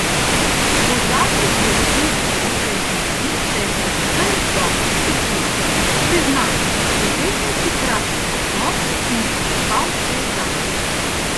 Po zadnji dirki v Trentinu se je predvsem dobro spočil: "Priznam, vzel sem si kratek odmor in prespal cel dan.